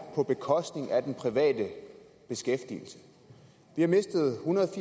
på bekostning af den private beskæftigelse vi har mistet ethundrede og